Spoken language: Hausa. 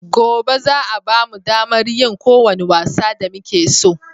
Gobe za a bamu damar yin ko wani wasa da muke so